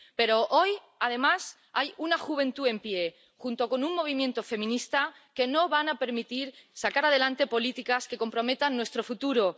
Pero hoy, además, hay una juventud en pie junto con un movimiento feminista que no van a permitirles sacar adelante políticas que comprometan nuestro futuro.